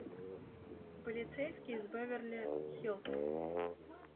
полицейский из беверли хиллз